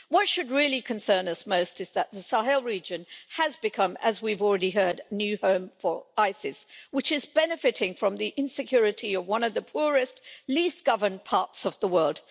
What should really concern us most is that the Sahel region has become, as we've already heard, a new home for Isis, which is benefiting from the insecurity of one of the poorest, least governed parts of the world.